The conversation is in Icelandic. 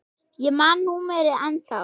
Ég man númerið ennþá.